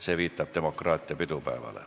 See viitab demokraatia pidupäevale.